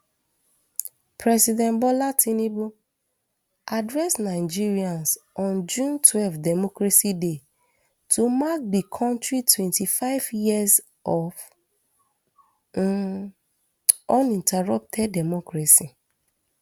president bola tinubu address nigerians on june twelve democracy day to mark di kontri twenty-five years of um uninterrupted democracy